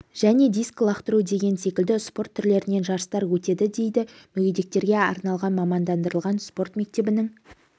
және дискі лақтыру деген секілді спорт түрлерінен жарыстар өтеді дейді мүгедектерге арналған мамандандырылған спорт мектебінің